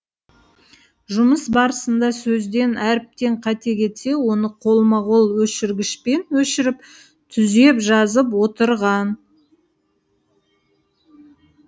жұмыс барысында сөзден әріптен қате кетсе оны қолма қол өшіргішпен өшіріп түзеп жазып отырған